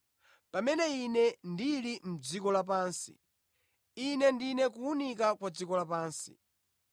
Pamene Ine ndili mʼdziko lapansi, Ine ndine kuwunika kwa dziko lapansi.”